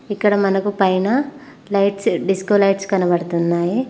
ఇక్కడ మనకు పైన లైట్స్ డిస్కో లైట్స్ కనబడుతున్నాయి.